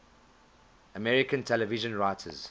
american television writers